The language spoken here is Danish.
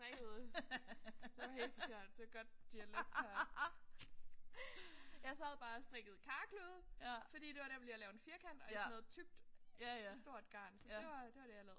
Strikkede det var helt forkert. Det er godt dialekt her. Jeg sad bare og strikkede karklude fordi det var nemt lige at lave en firkant i sådan noget tykt stort garn. Så det var det var det jeg lavede